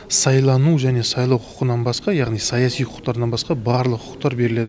сайлану және сайлау құқығынан басқа яғни саяси құқықтарынан басқа барлық құқықтар беріледі